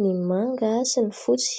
ny manga sy ny fotsy.